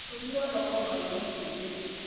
Ndũmirwo thoko ngagũre cumbĩ